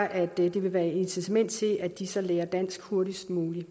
at det vil være et incitament til at de så lærer dansk hurtigst muligt